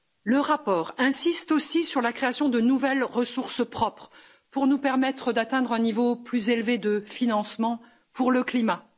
Le rapport insiste aussi sur la création de nouvelles ressources propres, pour nous permettre d'atteindre un niveau plus élevé de financement pour le climat.